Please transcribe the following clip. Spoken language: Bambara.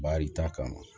Baarita kama